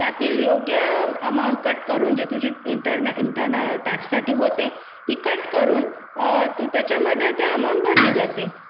त्यातील योग्य रक्कम कापून अंतर्गत कर साठी होते ती कापून त्याच्यामध्ये ती रक्कम भरली जाते